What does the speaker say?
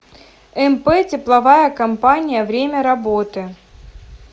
мп тепловая компания время работы